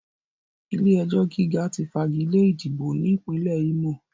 Ilé-ẹjọ̀ gíga ti fagilé ìdìbò ní Ìpínlẹ̀ Ímò